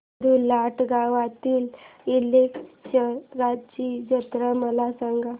अब्दुललाट गावातील कलेश्वराची जत्रा मला सांग